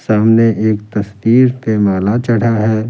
सामने एक तस्वीर पे माला चढ़ा है ।